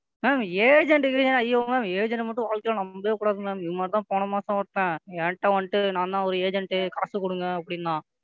Ma'am agent கள்ளாம் ஐயோ Ma'am agent மட்டும் வாழ்க்கையில நம்பவே கூடாது. இது மாதிரி தான் போன மாசம் ஒருத்தன் என்ட வன்ட்டு எங்க அண்ணன் ஒரு Agent காசு கொடுங்க அப்படின்னான்.